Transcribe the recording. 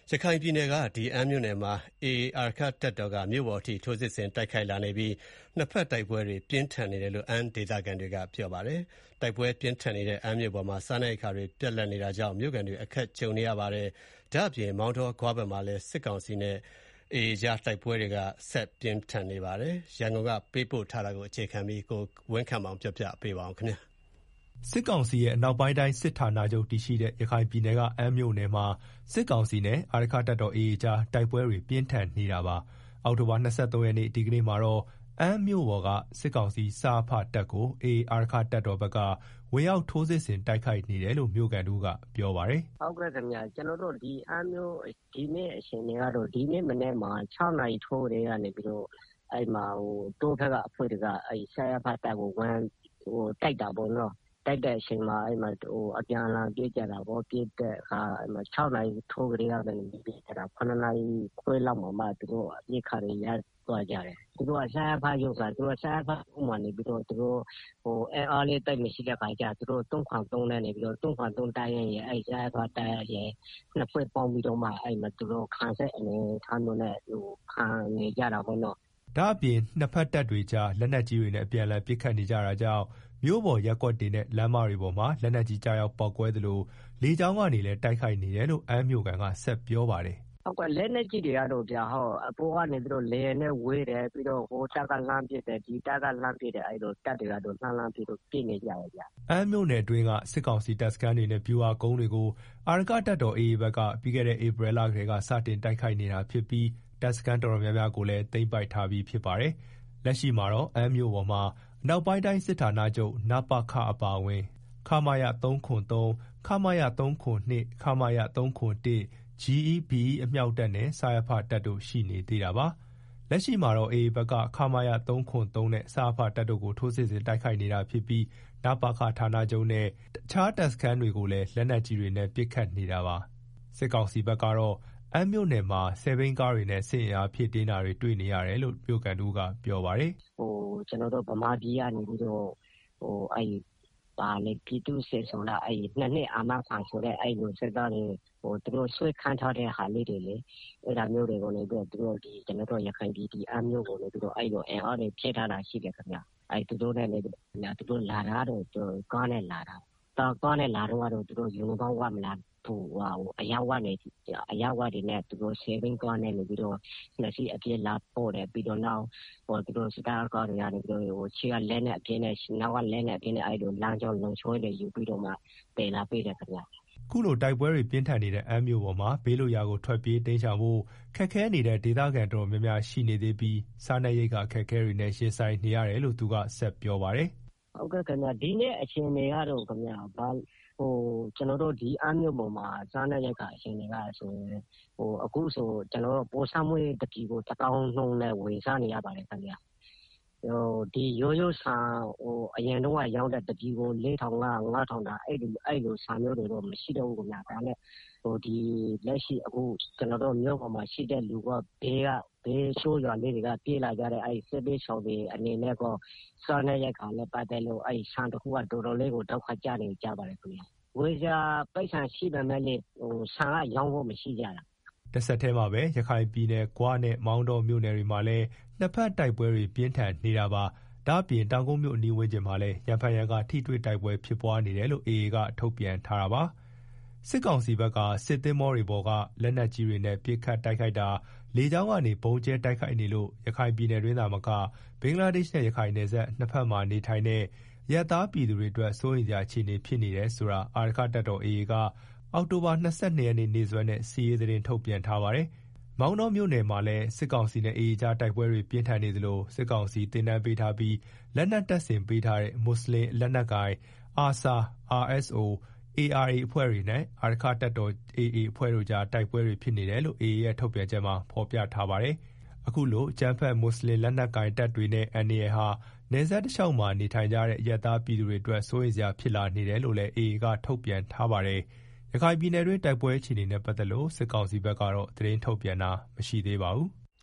ရခိုင်ပြည်နယ်က အမ်းမြို့နယ်မှာ AA အာရက္ခတပ်တော်က မြို့ပေါ်အထိ ထိုးစစ်ဆင်တိုက်ခိုက်လာနေပြီး နှစ်ဘက်တိုက်ပွဲတွေ ပြင်းထန်နေတယ်လို့ အမ်းဒေသခံတွေက ဗွီအိုအေကို ပြောပါတယ်။ တိုက်ပွဲပြင်းထန်နေတဲ့ အမ်းမြို့ပေါ်မှာ စားနပ်ရိက္ခာတွေ ပြတ်လပ် နေတာကြောင့် မြို့ခံတွေအခက်ကြုံနေရကြပါတယ်။ မောင်တော၊ ဂွ ဘက်မှာလည်း စစ်ကောင်စီနဲ့ အာရက္ခတပ်တော် AAကြား တိုက်ပွဲတွေက ဒီကနေ့အထိ ပြင်းထန်နေဆဲဖြစ်ပါတယ်။ စစ်ကောင်စီရဲ့ အနောက်ပိုင်းတိုင်းစစ်ဌာနချုပ်တည်ရှိတဲ့ ရခိုင်ပြည်နယ်က အမ်းမြို့နယ်မှာ စစ်ကောင်စီနဲ့ အာရက္ခတပ်တော်AAကြား တိုက်ပွဲတွေ ပြင်းထန်နေတာပါ။ အောက်တိုဘာလ ၂၃ရက်နေ့ ဒီကနေ့မှာတော့ အမ်းမြို့ပေါ်က စစ်ကောင်စီ စရဖတပ်ကို AA အာရက္ခတပ်တော် ဘက်က ဝင်ရောက် ထိုးစစ်ဆင် တိုက်ခိုက်နေတယ်လို့ မြို့ခံတဦးကပြောပါတယ်။ “အမ်းမြို့အခြေအနေကတော့ ဒီကနေ့ မနက်မှာ ၆နာရီထိုးအချိန်က စပြီးတော့ တောထဲက အဖွဲ့တွေက စရဖ တပ်ကို ဝင်တိုက်တာပေါ့နော်၊ တိုက်တဲ့အချိန်မှာ အပြန်အလှန်ပစ်ကြ တာပေါ့၊ ၆နာရီကနေ ပစ်ကြတာ ရနာရီ ခွဲလောက်မှာပဲ အပစ်အခတ်တွေ ရပ်သွားကြတာ၊ စရဖတပ်မှာက အင်အားလည်းသိပ်မရှိတော့ ၃၇၃တပ်ရင်းလည်း အဲဒီစရဖတပ်ရင်းရယ် နှစ်ဖွဲ့ ပေါင်းပြီးတော့မှ သူတို့ ခံစစ်အနေအထားနဲ့ ခုခံနေကြတာပေါ့နော်။” ဒါ့အပြင် နှစ်တပ်တွေကြား လက်နက်ကြီးတွေနဲ့အပြန်အလှန် ပစ်ခတ်နေကြတာကြောင့် မြို့ပေါ်ရပ်ကွက်တွေနဲ့ လမ်းမပေါ်တွေမှာ လက်နက်ကြီး ကျရောက်ပေါက်ကွဲသလို လေကြောင်းကနေလည်း တိုက်ခိုက်နေတယ်လို့ အမ်းမြို့ခံက ဆက်ပြောပါတယ်။ “ လက်နက်ကြီးတွေကတော့ အပေါ်က လေယာဉ်နဲ့ ဝဲတယ် ပြီးတော့ ဟိုတပ်က လှမ်းပစ် ဒီတပ်က လှမ်းပစ်နဲ့ တပ်တွေကတော့ အဲလိုတော့ လှမ်းပစ်နေကြတယ်။” အမ်းမြို့နယ်အတွင်းက စစ်ကောင်စီတပ်စခန်းတွေနဲ့ ဗျူဟာကုန်းတွေကို အာရက္ခတပ်တော် AA ဘက်က ပြီးခဲတဲ့ ဧပြီလကတည်းက တိုက်ခိုက်နေတာဖြစ်ပြီး တပ်စခန်း တော်တော်များများကို သိမ်းပိုက်ထားပြီးဖြစ်ပါတယ်။ လက်ရှိမှာတော့ အမ်းမြို့ပေါ်မှာ အနောက်ပိုင်း တိုင်းစစ်ဌာနချုပ်(နပခ) အပါအဝင် ခမရ ၃၇၃၊ ခမရ ၃၇၂၊ ခမရ ၃၇၁၊ GE၊ BE အမြောက်တပ်နဲ့ စရဖတပ်တို့ ရှိနေသေးတာပါ။ လက်ရှိမှာတော့ AA ဘက်က ခမရ ၃၇၃ နဲ့ စရဖတပ်တို့ကို ထိုးစစ်ဆင်တိုက်ခိုက်နေတာဖြစ်ပြီး နပခ ဌာနချုပ်နဲ့ တခြားတပ်စခန်းတွေကိုလည်း လက်နက်ကြီးတွေနဲ့ ပစ်ခတ်နေတာပါ။ စစ်ကောင်စီဘက်ကတော့ အမ်းမြို့နယ်မှာ ဆယ်ဘီးကားတွေနဲ့ စစ်အင်အားဖြည့်တင်းနေတာတွေ တွေ့နေရတယ်လို့ မြို့ခံတဦးကပြောပါတယ်။ “ ဗမာပြည်ကနေပြီးတော့ ပြည်သူ့စစ်ဆိုလား ၂ နှစ်အာမခံဆိုတဲ့ အဲလို စစ်သားတွေ သူတို့ဆွဲခန့်ထားတဲ့ ဟာလေးတွေလေ၊ အဲဒါတွေကို ကျနော်တို့ ရခိုင်ပြည် အမ်းမြို့ကို အဲလို အင်အားတွေ ဖြည့်ထားတာရှိတယ်ခင်ဗျာ။ သူတို့လာတာကတော့ ကားနဲ့လာတာပါ။ ကားနဲ့ လာတုန်းကတော့ သူတို့ ယူနီဖောင်းဝတ်မလာဘူး အရပ်ဝတ်နဲ့ပဲ ဆယ်ဘီးကား နှစ်စီးနဲ့ အပြည့်လာပို့တာ၊ ပြီးတော့ စစ်တပ်က ကားတွေက ရှေ့ကလက်နက်အပြည့်နဲ့ နောက်က လက်နက်အပြည့်နဲ့ လမ်းကြော လုံခြုံရေးယူပြီးတော့ သယ်လာပေးတယ်ခင်ဗျာ။” အခုလို တိုက်ပွဲတွေ ပြင်းထန်နေတဲ့ အမ်းမြို့ပေါ်မှာ ဘေးလွတ်ရာကို ထွက်ပြေးတိမ်းရှောင်ဖို့ ခက်ခဲနေတဲ့ ဒေသခံ တော်တော်များများရှိနေသေးပြီး စားနပ်ရိက္ခာအခက်အခဲတွေနဲ့ ရင်ဆိုင်နေရတယ်လို့ သူကဆက်ပြောပါတယ်။ “ အမ်းမြို့ပေါ်မှာ စားနပ်ရိက္ခာ အခြေအနေကဆိုရင် အခုဆို ပေါ်ဆန်းမွှေးတပြည်ကို တသောင်းပေးပြီးတော့ ဝယ်စားနေရတယ်၊ ရိုဆန်ဆန်အရင်တုန်းက တပြည်ကို ၄၅၀၀၊၅ဝဝဝတန် အဲဒီဆန်တွေတော့ မရှိတော့ဘူးခင်ဗျာ။ လက်ရှိမြို့ပေါ်မှာရှိတဲ့ သူတွေနဲ့ ဘေးရွာတွေကနေ ပြေးလာကြတဲ့သူတွေ အနေနဲ့ စားနပ်ရိက္ခာနဲ့ ပတ်သတ်ပြီးတော့ ဆန်တခုက တော်တော်လေးကို ဒုက္ခကျနေတယ်။ဝယ်စရာပိုက်ဆံရှိပေမယ့်လည်း ဆန်က ရောင်းဖို့မရှိကြတာ။” တဆက်တည်းမှာပဲ ရခိုင်ပြည်နယ်က ဂွနဲ့ မောင်တောမြို့နယ်တွေမှာလည်း နှစ်ဘက်တိုက်ပွဲတွေ ပြင်းထန်နေတာပါ။ ဒါ့အပြင် တောင်ကုတ်မြို့အနီးဝန်းကျင်မှလည်း ရံဖန်ရံခါ ထိတွေ့တိုက်ပွဲ ဖြစ်ပွားနေတယ်လို့ AA ကထုတ်ပြန်ထားတာပါ။ စစ်ကောင်စီဘက်က စစ်သင်္ဘော တွေပေါ်က လက်နက်ကြီးများဖြင့် ပစ်ခတ်တိုက်ခိုက်တာ၊ လေကြောင်းမှ ဗုံးကြဲတိုက်ခိုက်နေလို့ ရခိုင်ပြည်နယ်အတွင်းသာမက ဘင်္ဂလားဒေ့ရှ်-ရခိုင်နယ်စပ် နှစ်ဖက်တွင်နေထိုင်ကြသော အရပ်သားပြည်သူတွေအတွက် စိုးရိမ်စရာအခြေအနေဖြစ်နေတယ်ဆိုတာ အာရက္ခတပ်တော်က AAက အောက်တိုဘာလ ၂၂ရက်နေ့နေ့စွဲနဲ့ စစ်ရေးသတင်း ထုတ်ပြန်ထားပါတယ်။ မောင်တောမြို့နယ်မှာလည်း စစ်ကောင်စီနဲ့ AAကြား တိုက်ပွဲတွေ ပြင်းထန်နေသလို စစ်ကောင်စီ သင်တန်းပေးထားပြီး လက်နက်တပ်ဆင်ပေးထားသော မူဆလင်လက်နက်ကိုင် ARSA RSO နဲ့ ARA အဖွဲ့တွေနဲ့ အာရက္ခတပ်တော်AAကြား တိုက်ပွဲဖြစ်နေတယ်လို့ AAရဲ့ ထုတ်ပြန်ချက်မှာဖော်ပြထားပါတယ်။ အခုလို အကြမ်းဖက် မွတ်ဆလင်လက်နက်ကိုင်တပ်တွေ နဲ့ အန္တရာယ်ဟာ နယ်စပ်တလျောက်မှာ နေထိုင်ကြတဲ့ အရပ်သားပြည် သူတွေ အတွက် စိုးရိမ်စရာဖြစ်လာနေတယ်လို့လည်း AAထုတ်ပြန်ထားပါတယ်။ ရခိုင်ပြည်နယ်တွင်း တိုက်ပွဲအခြေအနေနဲ့ပတ်သက်လို့ စစ်ကောင်စီဘက်ကတော့ သတင်းထုတ်ပြန်တာ မရှိသေးပါဘူး။